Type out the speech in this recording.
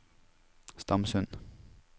Stamsund